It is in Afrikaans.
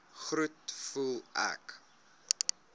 groet voel ek